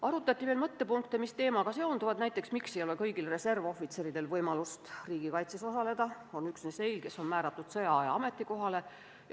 Arutati veel mõningaid mõttepunkte, mis teemaga seonduvad, näiteks seda, miks ei ole kõigil reservohvitseridel võimalust riigikaitses osaleda, vaid see võimalus on üksnes neil, kes on määratud sõjaaja ametikohale.